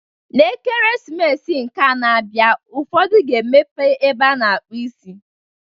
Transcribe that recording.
N'Ekeresimesi nke a na-abịa ụfọdụ ga-emepe ebe a na-akpụ isi.